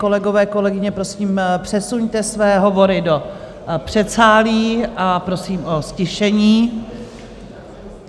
Kolegové, kolegyně, prosím přesuňte své hovory do předsálí a prosím o ztišení.